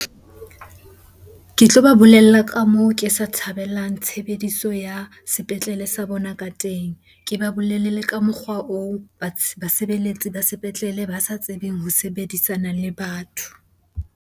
Ke tloba bolella ka moo ke sa thabelang tshebediso ya sepetlele sa bona ka teng. Ke ba bolelle le ka mokgwa oo basebeletsi ba sepetlele ba sa tsebeng ho sebedisana le batho.